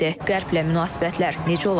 Qərblə münasibətlər necə olacaq?